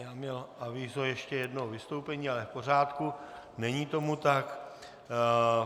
Já měl avízo ještě jednoho vystoupení, ale v pořádku, není tomu tak.